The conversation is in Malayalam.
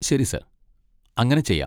ശരി സർ, അങ്ങനെ ചെയ്യാം.